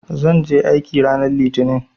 Zan je aiki ranar Litinin.